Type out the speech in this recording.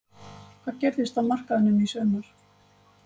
Hvað gerist á markaðinum í sumar?